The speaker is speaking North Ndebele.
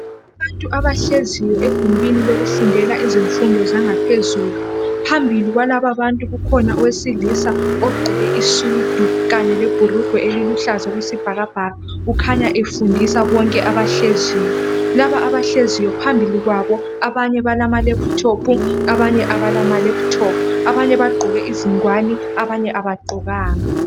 Abantu abahleziyo egumbini lokufundela izifundo zangaphezulu phambili kwalabantu ukhona owesilisa ogqoke isudu kanye lebhurungwe eliluhlaza okwesibhakabhaka kukhanya efndisa bonke abahleziyo. Laba abahleziyo kukhanya phambili kwabo abanye balamalephuthophu abanye kabala malephuthophu abanye bagqoke izingwane abanye abagqokanga.